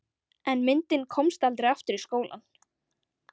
En myndin komst aldrei aftur í skólann.